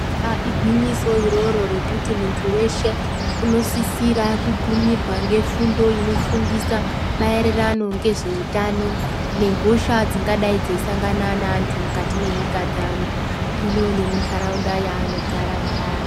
Eyaa igwinyiso iroro rekuti muntu weshe unosisirwa kugumirwa nefundo inofundisa maererano ngezveutano nehosha dzingadai dzeyisangana neantu mukati menyika dzaano ino nemundaraunda yaano gara mwaari.